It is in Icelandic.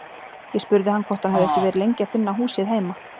Ég spurði hann hvort hann hefði ekki verið lengi að finna húsið heima.